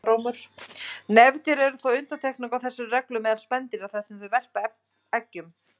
Nefdýr eru þó undantekningin á þessari reglu meðal spendýra þar sem þau verpa eggjum.